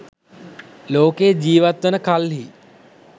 ලෝකයේ ජීවත් වන කල්හි